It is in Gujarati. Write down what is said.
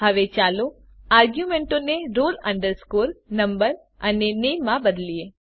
હવે ચાલો આર્ગ્યુંમેંટોને roll number અને નામે માં બદલીએ